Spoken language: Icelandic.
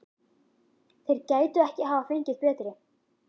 Þeir gætu ekki hafa fengið betri.